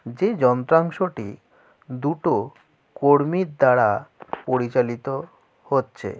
যে যন্ত্রাংশটি দুটো কর্মীর দ্বারাআ পরিচালিত হচ্ছে।